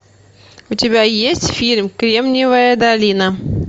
у тебя есть фильм кремниевая долина